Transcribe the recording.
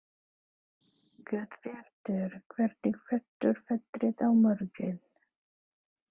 Guðbjartur, hvernig verður veðrið á morgun?